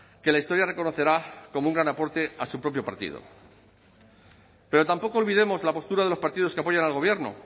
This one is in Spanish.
que la historia reconocerá como un gran aporte a su propio partido pero tampoco olvidemos la postura de los partidos que apoyan al gobierno